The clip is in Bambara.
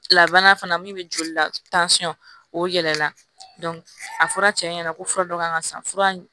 Labanna fana min bɛ joli la o yɛlɛla a fɔra cɛ ɲɛna ko fura dɔ kan ka san fura